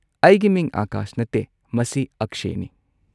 ꯑꯩꯒꯤ ꯃꯤꯡ ꯑꯥꯀꯥꯁ ꯅꯠꯇꯦ, ꯃꯁꯤ ꯑꯛꯁꯦꯅꯤ꯫